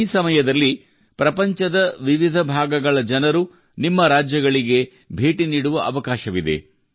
ಈ ಸಮಯದಲ್ಲಿ ಪ್ರಪಂಚದ ವಿವಿಧ ಭಾಗಗಳ ಜನರು ನಿಮ್ಮ ರಾಜ್ಯಗಳಿಗೆ ಭೇಟಿ ನೀಡುವ ಅವಕಾಶವಿದೆ